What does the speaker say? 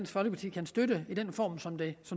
folkeparti kan støtte i den form som det